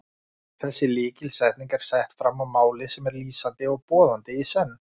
Þessi lykilsetning er sett fram á máli sem er lýsandi og boðandi í senn.